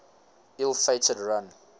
ill fated run